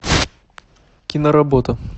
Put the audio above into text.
киноработа